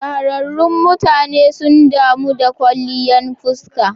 Shahararrun mutane sun damu da kwalliyan fuska.